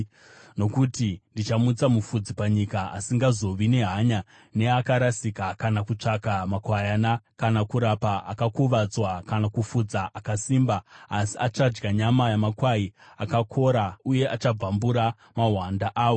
Nokuti ndichamutsa mufudzi panyika asingazovi nehanya neakarasika, kana kutsvaka makwayana, kana kurapa akakuvadzwa, kana kufudza akasimba, asi achadya nyama yamakwai akakora uye achabvambura mahwanda awo.